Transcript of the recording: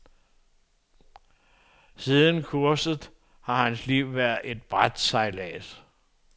Siden kurset har hans liv været brætsejlads.